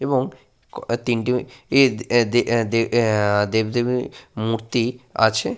এবং ও তিনটি এ দে আহ দেবদেবীর মূর্তি আছে।